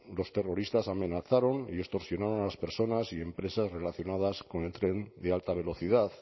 los terroristas amenazaron y extorsionaron a las personas y empresas relacionadas con el tren de alta velocidad